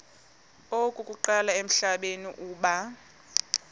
okokuqala emhlabeni uba